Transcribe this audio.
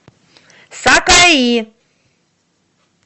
сакаи